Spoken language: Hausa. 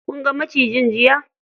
Kun ga macijin jiya?